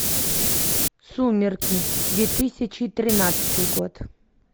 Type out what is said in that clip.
сумерки две тысячи тринадцатый год